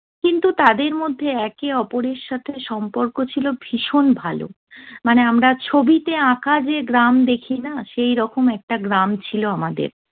কিন্তু তাদের মধ্যে একে অপরের সাথে সম্পর্ক ছিল ভীষণ ভালো। মানে আমরা ছবিতে আঁকা যে গ্রাম দেখি না, সেইরকম একটা গ্রাম ছিল আমাদের।